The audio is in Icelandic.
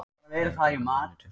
Lögregla er á leiðinni á staðinn